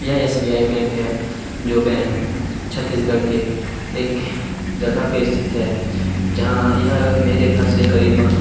यह S. B. I bank है जो बैंक छतीसगढ़ के एक जगह पे स्थित है जहाँ यह मेरे घर से करीबन --